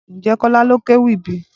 Ǹjẹ́ Kola ló kéwì bíi?